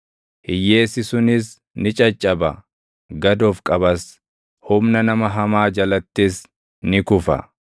Hiyyeessi sunis ni caccaba; gad of qabas; humna nama hamaa jalattis ni kufa.